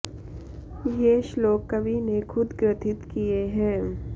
ये श्लोक कवि ने खुद ग्रथित किये हैं